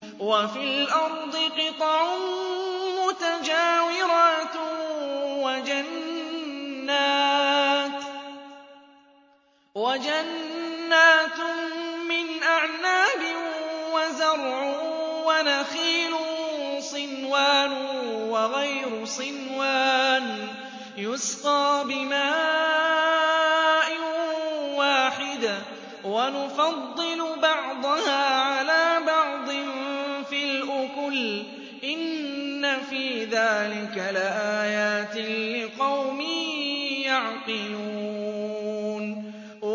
وَفِي الْأَرْضِ قِطَعٌ مُّتَجَاوِرَاتٌ وَجَنَّاتٌ مِّنْ أَعْنَابٍ وَزَرْعٌ وَنَخِيلٌ صِنْوَانٌ وَغَيْرُ صِنْوَانٍ يُسْقَىٰ بِمَاءٍ وَاحِدٍ وَنُفَضِّلُ بَعْضَهَا عَلَىٰ بَعْضٍ فِي الْأُكُلِ ۚ إِنَّ فِي ذَٰلِكَ لَآيَاتٍ لِّقَوْمٍ يَعْقِلُونَ